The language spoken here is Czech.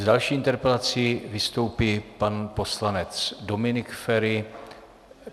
S další interpelací vystoupí pan poslanec Dominik Feri.